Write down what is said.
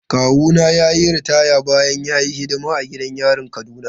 Kawuna ya yi ritaya bayan ya yi hidima a gidan yarin Kaduna.